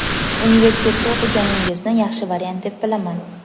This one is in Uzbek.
Universitetda o‘qiganingizni yaxshi variant deb bilaman.